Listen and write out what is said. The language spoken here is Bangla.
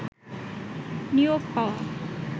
নিয়োগ পাওয়া